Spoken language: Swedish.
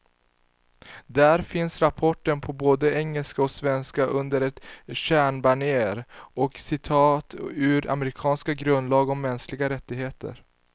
Där finns rapporten på både engelska och svenska, under ett stjärnbanér och citat ur amerikanernas grundlag om mänskliga rättigheter.